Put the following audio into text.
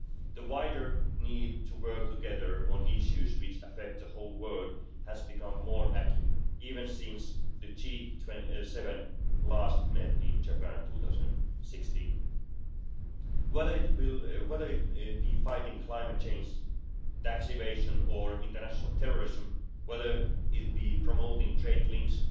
The wider need to work together on issues which affect the whole world has become more acute, even since the G7 last met in Japan in 2016. Whether it be fighting climate change, tax evasion or international terrorism, whether it be promoting trade links,